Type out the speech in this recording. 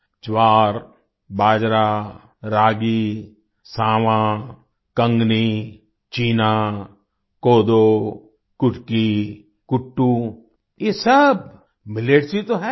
ज्वार बाजरा रागी सावां कंगनी चीना कोदो कुटकी कुट्टू ये सब मिलेट्स ही तो हैं